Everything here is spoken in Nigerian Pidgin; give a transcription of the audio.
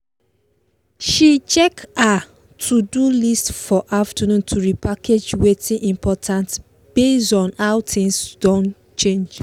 she check her to do list for afternoon to repackage watin important base on how things don change